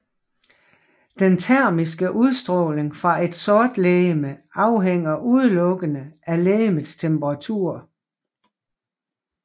Den termiske udstråling fra et sortlegeme afhænger udelukkende af legemets temperatur